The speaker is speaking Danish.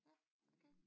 Ja okay